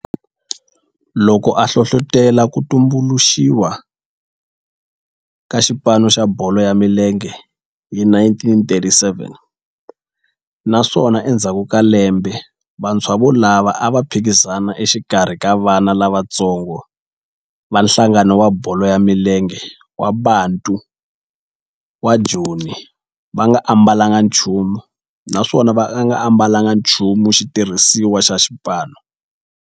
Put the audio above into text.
Loko a hlohlotela ku tumbuluxiwa ka xipano xa bolo ya milenge hi 1937 naswona endzhaku ka lembe vantshwa volavo a va phikizana exikarhi ka vana lavatsongo va nhlangano wa bolo ya milenge wa Bantu wa Joni va nga ambalanga nchumu naswona va nga ambalanga nchumu xitirhisiwa xa xipano.